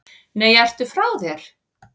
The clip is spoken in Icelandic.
Nei, ertu frá þér!